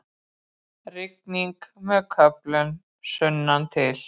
Rigning með köflum sunnantil